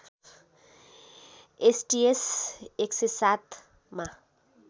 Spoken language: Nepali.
एसटिएस १०७ मा